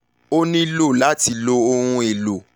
o nilo lati lo ohun elo